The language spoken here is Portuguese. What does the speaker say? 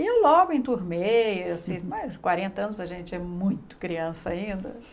E logo enturmei, assim, mais de quarenta anos a gente é muito criança ainda.